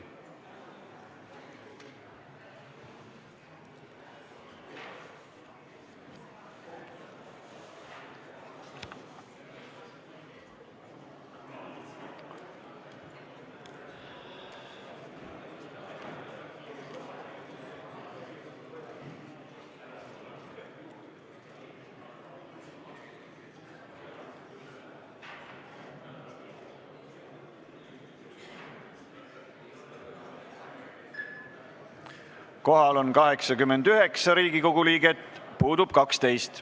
Kohaloleku kontroll Kohal on 89 Riigikogu liiget, puudub 12.